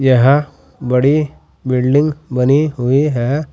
यह बड़ी बिल्डिंग बनी हुई है।